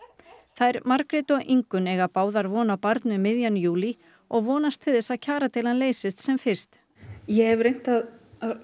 þær Margrét og Ingunn eiga báðar von á barni um miðjan júlí og vonast því til að kjaradeilan leysist sem fyrst ég hef reynt að